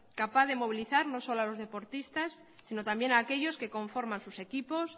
capaz de movilizar no solo a los deportistas sino también aquellos que conforman sus equipos